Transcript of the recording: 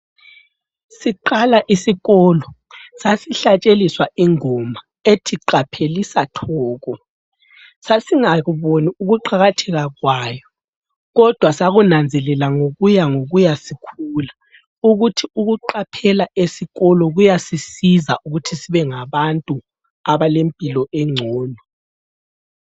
Siqala isikolo sasihlatsheliswa ingoma ethi, "Qaphelisa Thoko!" Sasingakuboni ukuqakatheka kwayo kodwa sakunanzelela ngokuya ngokuya sikhula ukuthi ukuqaphela esikolo ukuthi ukuqaphela esikolo kuyasisiza ukuthi sibengabantu abalempilo engcono.